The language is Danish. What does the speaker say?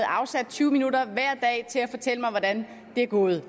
afsatte tyve minutter til at fortælle mig hvordan det er gået